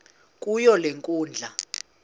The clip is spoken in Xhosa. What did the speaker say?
kuyo le nkundla